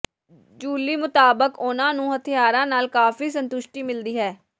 ਜੂਲੀ ਮੁਤਾਬਕ ਉਨ੍ਹਾਂ ਨੂੰ ਹਥਿਆਰਾਂ ਨਾਲ ਕਾਫੀ ਸੰਤੁਸ਼ਟੀ ਮਿਲਦੀ ਹੈ